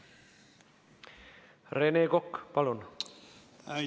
Rene Kokk, palun!